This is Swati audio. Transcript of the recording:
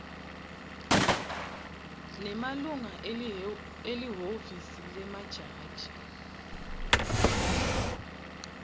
nemalunga elihhovisi lemajaji